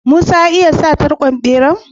Musa ya iya sa tarkon bera?